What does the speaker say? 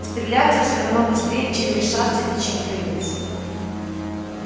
стреляться все равно быстрей чем вешаться и чем прыгать